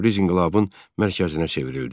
Təbriz inqilabın mərkəzinə çevrildi.